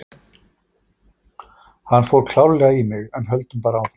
Hann fór klárlega í mig, en höldum bara áfram.